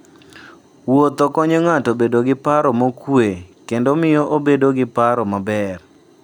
Wuotho konyo ng'ato bedo gi paro mokuwe kendo miyo obedo gi paro maber.